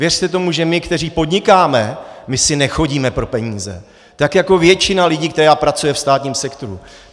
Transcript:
Věřte tomu, že my, kteří podnikáme, my si nechodíme pro peníze, tak jako většina lidí, která pracuje ve státním sektoru.